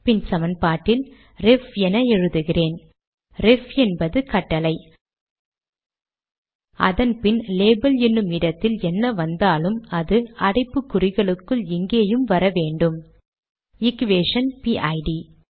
பின் சமன்பாட்டில் ரெஃப் என எழுதுகிறேன் ரெஃப் என்பது கட்டளை அதன் பின் லேபல் எனும் இடத்தில் என்ன வந்தாலும் அது அடைப்புக் குறிகளுக்குள் இங்கேயும் வர வேண்டும் எக்வேஷன் பிட்